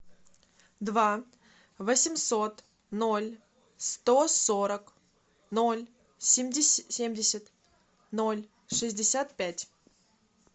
два восемьсот ноль сто сорок ноль семьдесят ноль шестьдесят пять